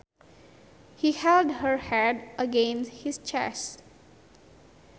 He held her head against his chest